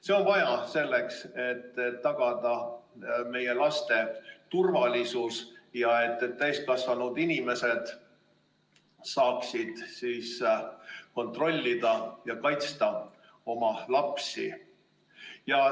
See on vajalik selleks, et tagada meie laste turvalisus ja et täiskasvanud inimesed saaksid kontrollida ja kaitsta oma lapsi.